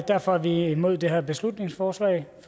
derfor er vi imod det her beslutningsforslag